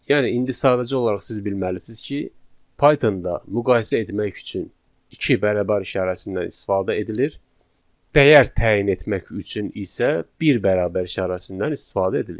Yəni indi sadəcə olaraq siz bilməlisiniz ki, Pythonda müqayisə etmək üçün iki bərabər işarəsindən istifadə edilir, dəyər təyin etmək üçün isə bir bərabər işarəsindən istifadə edilir.